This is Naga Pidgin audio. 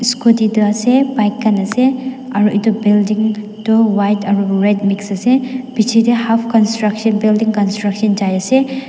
scooty tu ase bike khan ase aro itu building toh white aro red mix ase pichete half construction building construction jai ase.